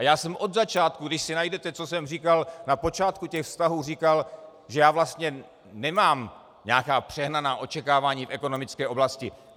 A já jsem od začátku, když si najdete, co jsem říkal na počátku těch vztahů, říkal, že já vlastně nemám nějaká přehnaná očekávání v ekonomické oblasti.